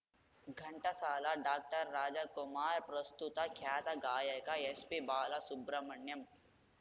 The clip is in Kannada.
ಘಂಟಸಾಲ ಡಾಕ್ಟರ್ರಾಜಕುಮಾರ್‌ ಪ್ರಸ್ತುತ ಖ್ಯಾತ ಗಾಯಕ ಎಸ್‌ಪಿ ಬಾಲಸುಬ್ರಮಣ್ಯಂ